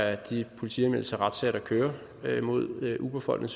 af de politianmeldelser og retssager der kører mod uberfolkene